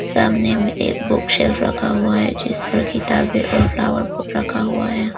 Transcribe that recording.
सामने में एक बुक्शेल्फ रखा हुआ है जिस पर किताबें और फ्लावर पॉट रखा हुआ है।